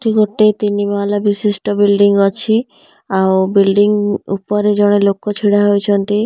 ଏଠି ଗୋଟିଏ ତିନିମହାଲା ବିଶିଷ୍ଟ ବିଲଡିଂ ଅଛି ଆଉ ବିଲଡିଂ ଉପରେ ଜଣେ ଲୋକ ଛିଡା ହୋଇଛନ୍ତି ଆଉ ବି--